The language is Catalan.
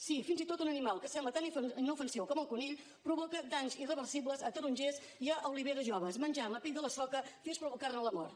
sí fins i tot un animal que sembla tan inofensiu com el conill provoca danys irreversibles a tarongers i a oliveres joves menjant la pell de la soca fins a provocar ne la mort